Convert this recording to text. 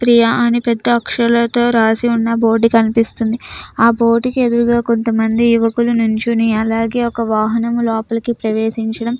ప్రియా ని పెద్ద అక్షరాలతో రాసి ఉన్న ఒక బోర్డుని కనిపిస్తుంది ఆ బోర్డుకి ఎదురుగా కొంతమంది యువకులు నించొని అలాగే ఒక వాహనం లోపలికి ప్రవేశించడం --